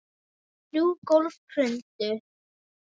Þrjú gólf hrundu.